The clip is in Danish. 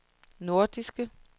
nordiske